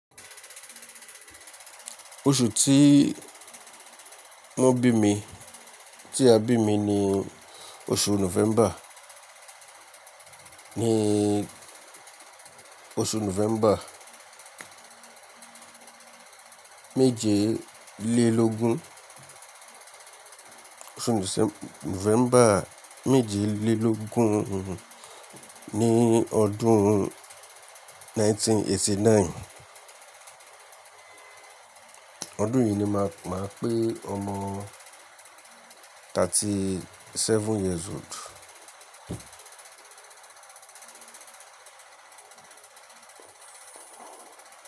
Oṣù tí wọ́n bí mi, tí a bí mi ni oṣù November. Ni oṣù November méje lé lógún, oṣù November méje lé lógún ní ọdún 1989. Ọdún yìí ni màá, màá pé ọmọ 37 years old.